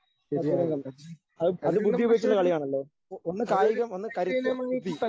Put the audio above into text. ചതുരംഗം അത് അത് ബുദ്ധി ഉപയോഗിച്ചുള്ള കളിയാണല്ലോ? ഒന്ന് കായികം ഒന്ന് കരുത്ത് ബുദ്ധി